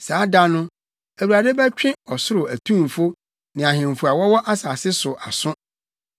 Saa da no, Awurade bɛtwe ɔsoro atumfo ne ahemfo a wɔwɔ asase so aso.